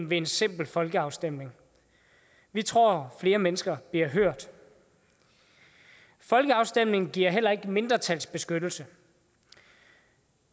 ved en simpel folkeafstemning vi tror at flere mennesker bliver hørt folkeafstemninger giver heller ikke mindretalsbeskyttelse